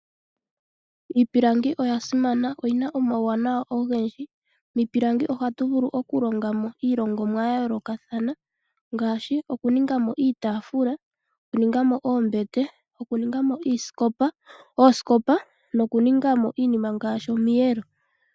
Iipilangi oya simana, oyina omauwanawa ogendji . Miipilangi ohatu vulu okulongamo iilongomwa yayoolokathana okuningamo iitaafula, okuningamo oombete , okuningamo oosikopa nokuningamo iinima ngaashi omiyelo.